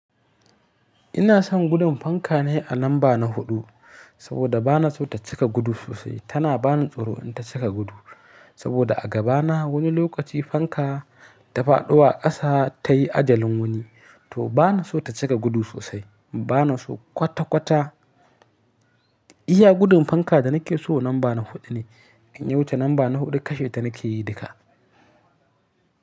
Ina son gudun fanka ne a lamba na huɗu, saboda ba na so ta cika gudu sosai. Tana ba ni tsoro in ta cika gudu, saboda a gaba na wani lokaci fanka ta faɗo a ƙasa ta yi ajalin wani. To ba na so ta cika gudu sosai, ba na so kwata-kwata. Iya gudun fanka da nake so lamba na huɗu ne. In ya wuce lamba na huɗu kashe ta nake yi duka.